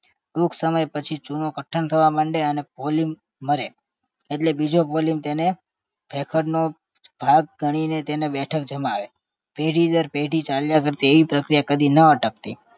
ટૂંક સમય પછી ચૂનો કઠણ થવા મંડે અને polyp મરે એટલે બીજો polyp તેને ભેખડનો ભાગ ઘણીને તેને બેઠક જમાવે પેઢી દર પેઢી ચાલ્યા કરતી એવી પ્રક્રિયા કદી ન અટકતી